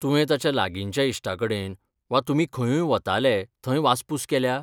तुवें ताच्या लागिंच्या इश्टांकडेन वा तुमी खंयूंय वताले थंय वासपूस केल्या?